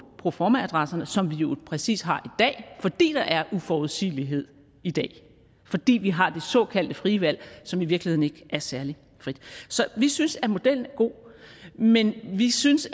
proformaadresserne som vi jo præcis har i dag fordi der er uforudsigelighed i dag fordi vi har det såkaldte frie valg som i virkeligheden ikke er særlig frit så vi synes at modellen er god men vi synes